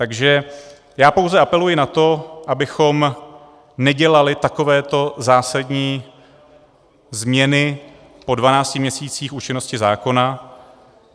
Takže já pouze apeluji na to, abychom nedělali takovéto zásadní změny po 12 měsících účinnosti zákona.